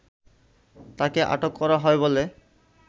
তাকে আটক করা হয় বলে